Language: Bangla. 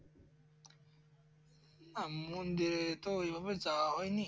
মন্দির তো ঔভাবে যাওয়া হয়নি